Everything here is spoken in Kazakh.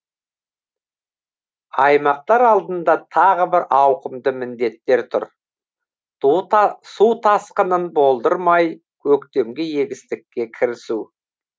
аймақтар алдында тағы бір ауқымды міндеттер тұр су тасқынын болдырмай көктемгі егістікке кірісу